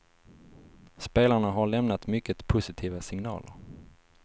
Spelarna har lämnat mycket positiva signaler.